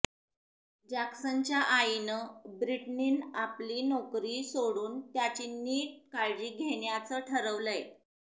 जॅक्सनच्या आईनं ब्रिटनीनं आपली नोकरी सोडून त्याची नीट काळजी घेण्याचं ठरवलंय